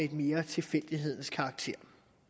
mere har tilfældighedens karakter